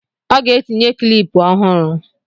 ọ ga-etinye kịlịpù ọhụrụ